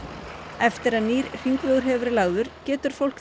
eftir að nýr hringvegur hefur verið lagður getur fólk